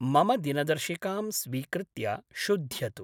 मम दिनदर्शिकां स्वीकृत्य शुध्यतु।